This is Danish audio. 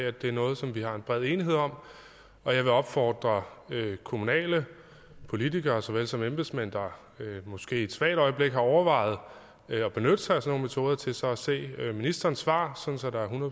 at det er noget som vi har en bred enighed om og jeg vil opfordre kommunale politikere såvel som embedsmænd der måske i et svagt øjeblik har overvejet at benytte sig af sådan nogle metoder til så at se ministerens svar